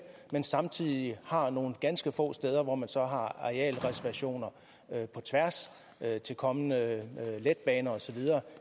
men samtidig har nogle ganske få steder hvor man så har arealreservationer på tværs til kommende letbaner og så videre